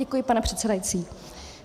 Děkuji, pane předsedající.